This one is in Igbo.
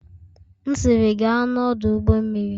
M'siri, gaa n'ọdụ ụgbọ mmiri!